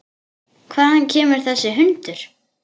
Hvaðan kemur þessi hundur?